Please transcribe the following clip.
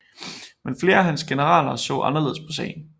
Men flere af hans generaler så anderledes på sagen